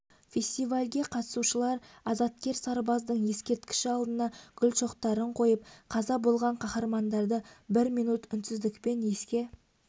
фестивальге қатысушылар азаткер сарбаздың ескерткіші алдына гүл шоқтарын қойып қаза болған қаһармандарды бір минут үнсіздікпен еске